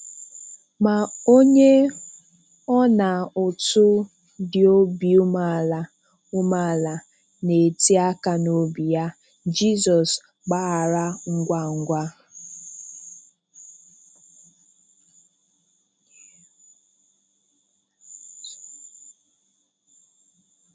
Ma onye ọnaụtụ dị obi umeala umeala na-eti aka n'obi ya, Jizọs gbaghara ngwa ngwa.